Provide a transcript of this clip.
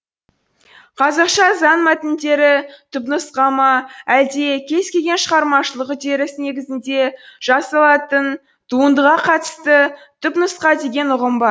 қазақша заң мәтіндері түпнұсқа ма әлде кез келген шығармашылық үдеріс негізінде жасалатын туындыға қатысты түпнұсқа деген ұғым бар